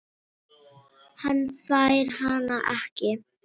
Hann fær hana ekki.